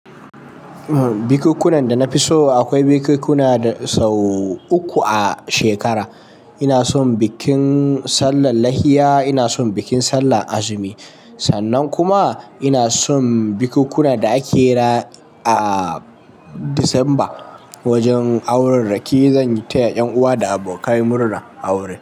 Bikukunna da na fi so akwai bikikuna sau uku a shekara. Ina son bikin sallar lahiya, ina son bikin sallar azumi sannan kuma ina son bikikuna da ake yi a Disamba wajen aurarraki. Zan yi ta ƴan uwa da abokai murna aure.